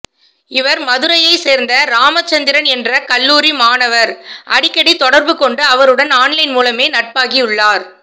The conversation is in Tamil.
இவர் மதுரையை சேர்ந்த ராமச்சந்திரன் என்ற கல்லூரி மாணவர் அடிக்கடி தொடர்பு கொண்டு அவருடன் ஆன்லைன் மூலமே நட்பாகி உள்ளார்